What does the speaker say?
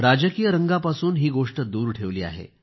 राजकीय रंगापासून ही गोष्ट दूर ठेवली आहे